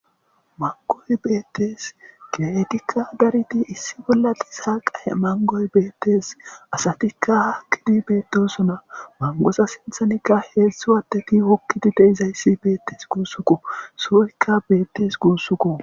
Mangoy beettes kiretikka dariti issi bolla liisa qae mangoy beettees asatikka haakkidi beettosona mangosa sinthanikka heeszszu watteti wokkiti deizayssi beettes guussuko sooykka beettes guussukko